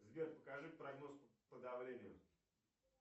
сбер покажи прогноз по давлению